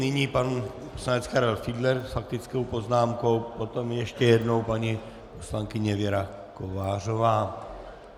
Nyní pan poslanec Karel Fiedler s faktickou poznámkou, potom ještě jednou paní poslankyně Věra Kovářová.